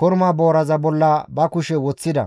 korma booraza bolla ba kushe woththida.